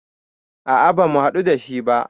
A a ba mu haɗu dashi ba